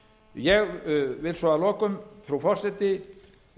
ég vil svo að lokum frú forseti